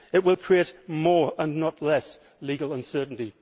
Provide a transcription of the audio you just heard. It will create more, not less, legal uncertainty.